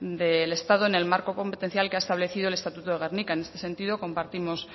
del estado en el marco competencial que ha establecido el estatuto de gernika en este sentido compartimos